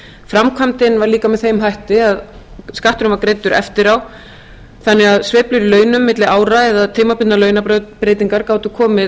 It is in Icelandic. framkvæmdin var líka með þeim hætti að skatturinn var greiddur eftir á þannig að sveiflur í launum milli ára eða tímabundnar launabreytingar gátu komið